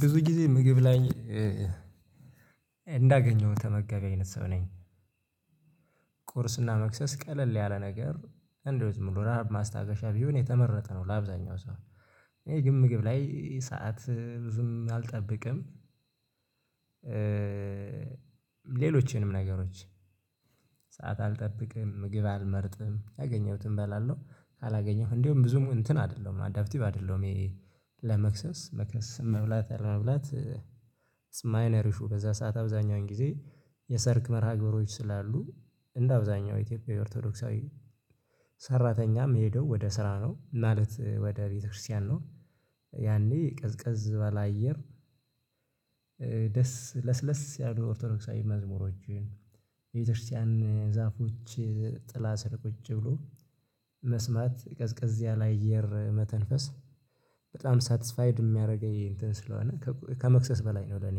ብዙ ጊዜ ምግብ ላይ እንዳገኘው ተመጋቢ አይነት ሰው ነኝ። መክሰስ ቀለል ያለ ነገር እንደው ዝምብሎ ረሃብ ማስታገሻ ቢሆን የተመረጠ ነው ለአብዛኛው ሰው። ይሄ ግን ምግብ ላይ ሰዓት ዝም አልጠብቅም ሌሎችንም ነገሮች ሰዓት አልጠብቅም ምግብ አልመርጥም ያገኘሁት እበላለሁ ካላገኘሁት እንደውም ብዙም እንትን አይደለሁም አዳፕቲቭ አይደለሁም። ለመክሰስ ለመክሰስ መብላት አረብላት አለመብላት ማይነር ኢሹ በዛ ሰዓት አብዛኛውን ጊዜ። የሰርክ መርሃ ግብሮች ስላሉ እንደ አብዛኛው ኢትዮጵያዊ ኦርቶዶክሳዊ ሰራተኛም ሄደው ወደ ስራ ነው ማለት ወደ ቤተክርስቲያን ነው። ያኔ ቅዝቅዝ ባለአየር ደስ ለስለስ ያሉ ኦርቶዶክሳዊ መዝሙሮችን የቤተክርስቲያን ዛፎች ጥላ ስር ቁጭ ብሎ መስማት ቀዝቀዝ ያለ አየር መተንፈስ በጣም ሳትስፋይድ የሚያደርገኝ እንትን ስለሆነ ከመክሰስ በላይ ነው ለኔ።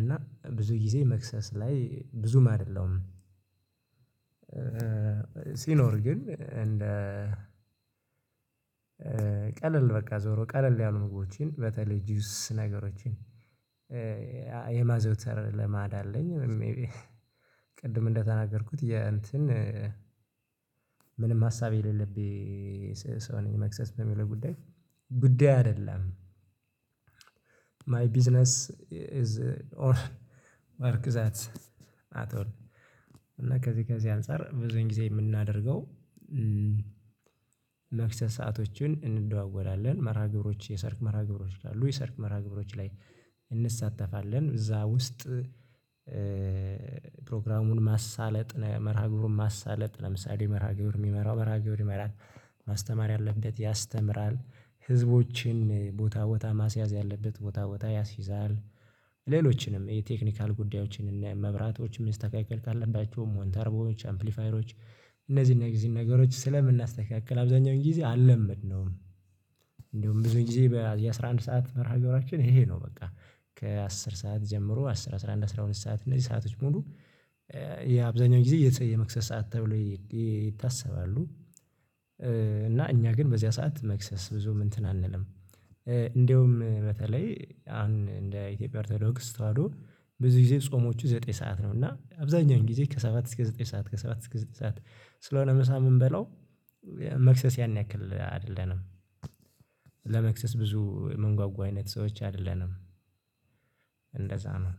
እና ብዙ ጊዜ መክሰስ ላይ ብዙም አይደለሁም። ሲኖር ግን እንደ ቀለል በቃ ዞሮ ቀለል ያሉ ምግቦችን በተለይ ጁስ ነገሮችን የማዘውተር ልማድ አለኝ። መይቢ ቅድም እንደተናገርኩት የእንትን ምንም ሀሳብ የሌለብኝ ሰው ነኝ መክሰስ በሚለው ጉዳይ ጉዳዪ አይደለም። ማይ ቢዝነስ ኢዝ ኦር ወርክ ዛት አት ኦልል እና ከዚህ ከዚህ አንፃር ብዙን ጊዜ የምናደርገው። መክሰስ ሰአቶችን እንደዋወላለን መርሃ ግብሮች የሰርክ መርሃ ግብሮች አሉ የሰርክ መርሃ ግብሮች ላይ እንሳተፋለን። እዛ ውስጥ ፕሮግራሙን ማሳለጥ መርሃ ግብሩን ማሳለጥ ለምሳሌ መርሃ ግብሩን የሚመራው መርሃ ግብሩን ይመራል ማስተማር ያለበት ያስተምራል ህዝቦችን ቦታ ቦታ ማስያዝ ያለበት ቦታ ቦታ ያስይዛል። ሌሎችንም የቴክኒካል ጉዳዮችን እና መብራቶችን መስተካከል ካለባቸው ሞንተርቦች አምፕሊፋይሮች እነዚህን እነዚህን ነገሮች ስለምናስተካክል አብዛኛውን ጊዜ አልለምድነውም። ብዙ ጊዜ የአሥራ አንድ ሰዓት መርሃ ገብራችን ይሄ ነው በቃ ከአስር ሰዓት ጀምሮ አሥር አስራ አንድ አስራ ሁለት ሰዓት እነዚህ ሰአቶች ሙሉ የአብዛኛው ጊዜ የመክሰስ ሰዓት ተብሎ ይታሰባሉ። እና እኛ ግን በዚያ ሰዓት መክሰስ ብዙም እንትን አንልም። እንደውም በተለይ አን እንደ ኢትዮጵያ አርቶዶክስ ተዋህዶ ብዙ ጊዜ ጾሞቹ ዘጠኝ ሰዓት ነው። እና አብዛኛውን ጊዜ ከሰባት እስከ ዘጠኝ ሰዓት ከሰባት እስከ ዘጠኝ ሰዓት ስለሆነ ምሳ ምን በላው መክሰስ ያን ያክል አይደለንም። ብዙ የምንጓጉ አይነት ሰዎች አይደለንም። እንደዛ ነው።